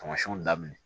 Tamasiɛnw daminɛ